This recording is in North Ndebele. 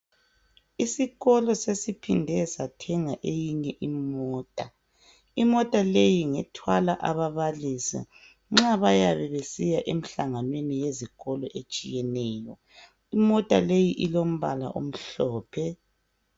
Isikolo sesiphinde sathenga eyinye imota. Imota leyi ngethwala ababalisi nxa bayabe besiya emihlanganweni etshiyeneyo. Imota leyi ilombala omhlophe.